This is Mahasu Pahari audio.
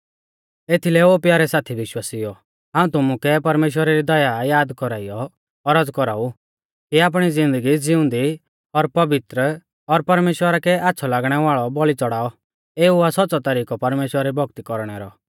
एथीलै ओ प्यारै साथी विश्वासिउओ हाऊं तुमुकै परमेश्‍वरा री दया याद कौराइयौ औरज़ कौराउ कि आपणी ज़िन्दगी ज़िऊंदी और पवित्र और परमेश्‍वरा कै आच़्छ़ौ लागणै वाल़ौ बौल़ी च़ौड़ाऔ एऊ आ सौच़्च़ौ तरिकौ परमेश्‍वरा री भौक्ती कौरणै रौ